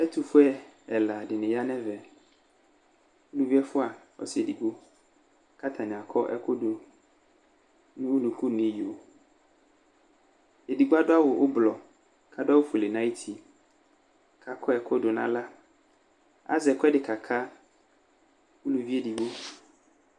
Ɛtʋfue ɛla dɩnɩ ya nʋ ɛvɛ Elɩvi ɛfua, ɔsɩ edigbo, kʋ ata nɩ akɔ ɛkʋ dʋ nu unuku nʋ iyo Edigbo adʋ aɣʋ ʋblɔ kʋ adʋ aɣʋ ofuele nʋ ayʋ uti, kʋ akɔ ɛkʋ dʋ nʋ aɣla Azɛ ɛkʋ ɛdɩ ka ka uluvi edɩgbo